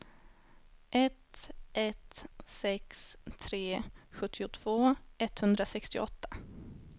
ett ett sex tre sjuttiotvå etthundrasextioåtta